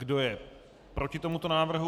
Kdo je proti tomuto návrhu?